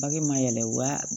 Bage ma yɛlɛ wa